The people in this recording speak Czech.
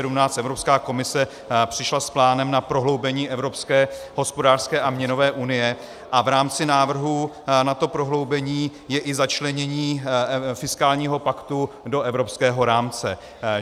Evropská komise přišla s plánem na prohloubení evropské hospodářské a měnové unie a v rámci návrhu na to prohloubení je i začlenění fiskálního paktu do evropského rámce.